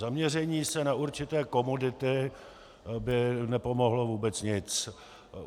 Zaměření se na určité komodity by nepomohlo vůbec nic.